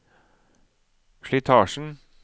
slitasjen